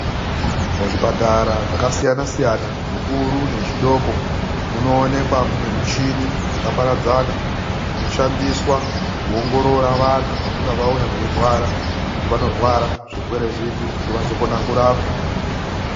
MUZVIPATARA ZVAKASIYANA ZVIKURU NEZVIDOKO MUNOONEKWA MUNE MUCHINI YAKAPARADZANA DZINOSHANDISWA KUONGORORA VANTU VANONGA VAUYA VEIRWARA KUTI VANORWARA ZVIRWERE ZVIPI KUTI Vazokone KURAPWA.